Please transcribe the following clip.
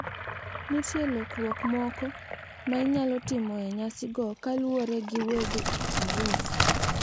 Nitie lokruok moko ma inyalo tim e nyasigo kaluwore gi weg arus.